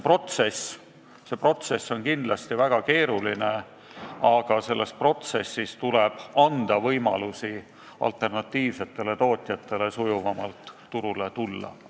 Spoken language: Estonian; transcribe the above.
Ehk see protsess on kindlasti väga keeruline, aga selles protsessis tuleb anda alternatiivsetele tootjatele võimalusi sujuvamalt turule tulla.